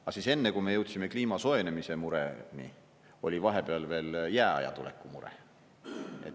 Aga enne, kui me jõudsime kliima soojenemise mureni, oli vahepeal veel jääaja tuleku mure.